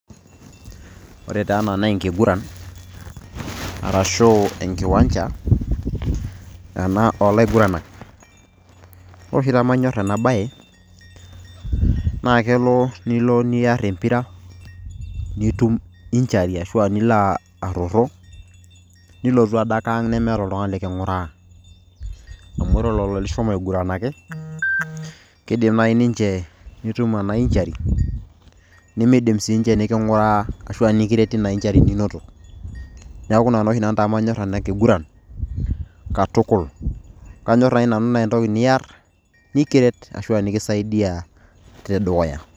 Ore taa ena na enkiguran, arashu enkiwanja ena olaiguranak. Ore oshi pamanyor ena bae, na lelo nilo niar empira, nitum injury ashu nilo arrorroo, nilo tu adake ang' nemeeta oltung'ani liking'uraa. Amu ore lelo lishomo aiguranaki, kiidim nai ninche nitum ena injury ,nimiidim sinche niking'uraa ashu ah nikiret tina injury ninoto. Neeku ina tooshi nanu tamanyor ena kiguran, katukul. Kanyor ake nanu na entoki niar, nikiret ashu aa nikisaidia tedukuya.